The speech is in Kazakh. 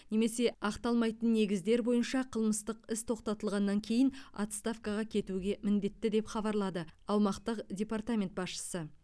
немесе ақталмайтын негіздер бойынша қылмыстық іс тоқтатылғаннан кейін отставкаға кетуге міндетті деп хабарлады аумақтық департамент басшысы